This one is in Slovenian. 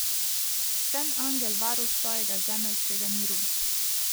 Sem angel varuh tvojega zemeljskega miru.